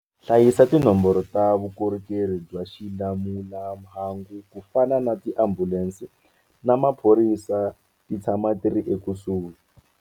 Hlayisa tinomboro ta vukorhokeri bya xilamulelamhangu ku fana na tiambulense na maphorisa ti tshama ti ri ekusuhi.